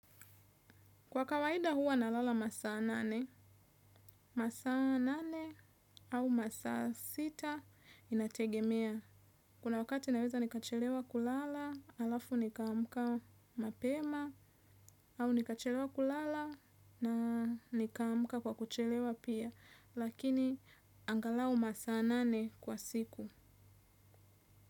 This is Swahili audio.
Kwa kawaida huwa nalala masaa nane, masaa nane au masaa sita inategemea. Kuna wakati naweza nikachelewa kulala, alafu nikamka mapema au nikachelewa kulala na nikamka kwa kuchelewa pia. Lakini angalau masaa nane kwa siku.